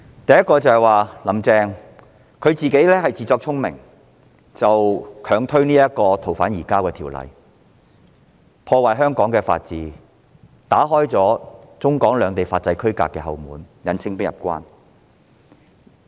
第一，"林鄭"自作聰明，強推《逃犯條例》，破壞香港法治，打開了中港兩地法制區隔的後門，引清兵入關。